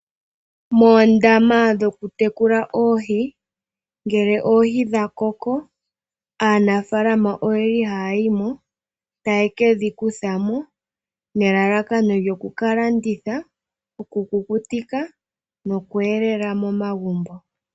Moondama dhokutekula oohi, ngele oohi dha koko aanafaalama ohaya yi mo taye ke dhi kutha mo nelalakano lyoku ka landitha okukutika noku elela momagumbo.